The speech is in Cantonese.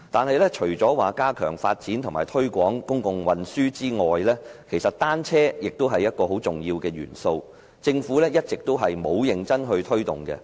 不過，除加強發展和推廣公共運輸外，單車其實也是很重要的元素，但政府一直沒有認真推動。